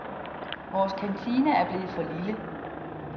Vores kantine er blevet for lille.